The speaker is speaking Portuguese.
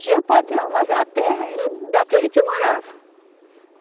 Tinha patrão, mas a terra era daquele que morava.